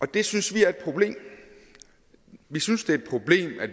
det synes vi er et problem vi synes det er et problem at